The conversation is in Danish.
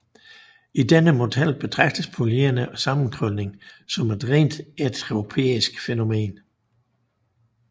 I denne model betragtes polymerens sammenkrølning som et rent entropisk fænomen